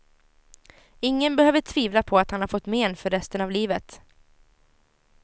Ingen behöver tvivla på att han har fått men för resten av livet.